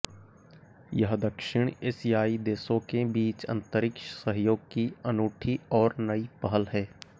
यह दक्षिण एशियाई देशों के बीच अंतरिक्ष सहयोग की अनूठी और नई पहल है